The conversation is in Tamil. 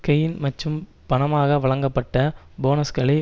கெய்ன் மற்றும் பணமாக வழங்கப்பட்ட போனஸ்களே